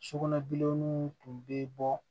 Sugunɛbilenninw tun bɛ bɔ